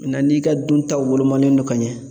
n'i ka duntaw wolomanen no ka ɲɛ